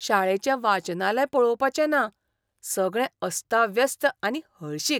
शाळेचें वाचनालय पळोवपाचें ना, सगळें अस्ताव्यस्त आनी हळशीक!